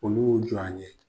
Olu y'u jɔ a ɲe.